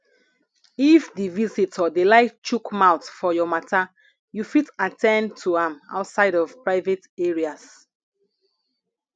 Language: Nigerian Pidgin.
if di visitor dey like chook mouth for your matter you fit at ten d to am outside of private areas